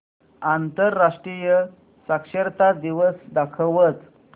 आंतरराष्ट्रीय साक्षरता दिवस दाखवच